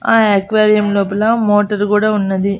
ఆ ఎక్వేరియం లోపల మోటర్ కూడా ఉన్నది.